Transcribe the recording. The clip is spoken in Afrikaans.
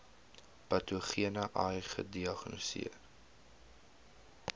patogene ai gediagnoseer